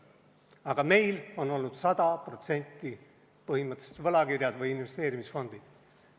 Aga meil on olnud 100% põhimõtteliselt võlakirjade investeerimisfondid.